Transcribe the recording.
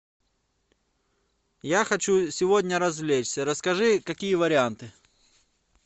я хочу сегодня развлечься расскажи какие варианты